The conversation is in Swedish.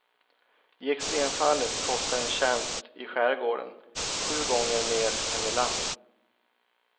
I extremfallet kostar en tjänst i skärgården sju gånger mer än i land.